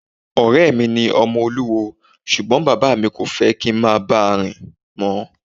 Ọ̀rẹ́ mi ni ọmọ olúwo ṣùgbọ́n bàbá mi kò fẹ́ kí n báà rìn mọ́.